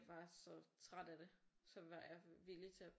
Var så træt af det så var jeg villig til at